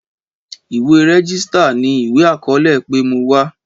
Ìwé rẹ́gísítà ní ìwé àkọọlẹ wípé mo wá